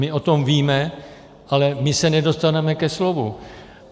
My o tom víme, ale my se nedostaneme ke slovu.